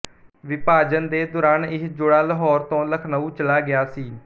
ਵਿਭਾਜਨ ਦੇ ਦੌਰਾਨ ਇਹ ਜੋੜਾ ਲਾਹੌਰ ਤੋਂ ਲਖਨਊ ਚਲਾ ਗਿਆ ਸੀ